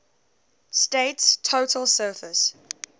state's total surface